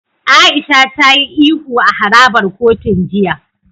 Aisha ta yi ihu a harabar kotun jiya.